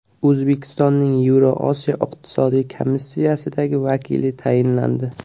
O‘zbekistonning Yevrosiyo iqtisodiy komissiyasidagi vakili tayinlandi.